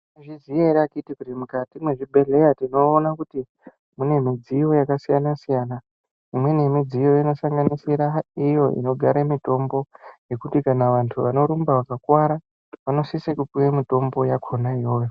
Maizviziya ere akiti kuti mukati me zvibhedhleya tinoona kuti mune midziyo yaka siyana siyana imweni ye midziyo ino sanganisira iyo inogara mitombo yekuti kana antu anorumba vaka kwara vano sise kupuwa mitombo yakona iyoyo.